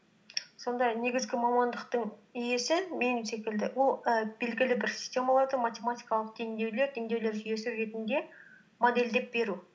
сонда негізгі мамандықтың иесі секілді ол і белгілі бір системалардың математикалық теңдеулер теңдеулер жүйесі ретінде модельдеп беру